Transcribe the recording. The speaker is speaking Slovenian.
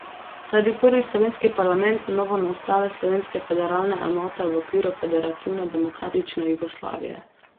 To je bil prvi slovenski parlament novonastale slovenske federalne enote v okviru federativne demokratične Jugoslavije.